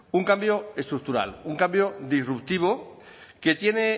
un cambio estructural un cambio disruptivo que tiene